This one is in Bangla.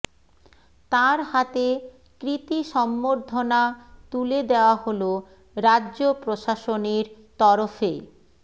তাঁর হাতে কৃতী সম্বর্ধনা তুলে দেওয়া হল রাজ্য প্রশাসনের তরফে